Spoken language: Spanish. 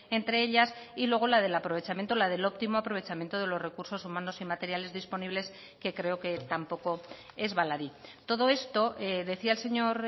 entre ellas y luego la del aprovechamiento la del óptimo aprovechamiento de los recursos humanos y materiales disponibles que creo que tampoco es baladí todo esto decía el señor